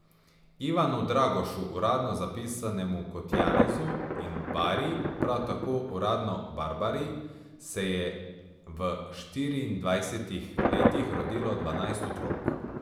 Ivanu Dragošu, uradno zapisanemu kot Janezu, in Bari, prav tako uradno Barbari, se je v štiriindvajsetih letih rodilo dvanajst otrok.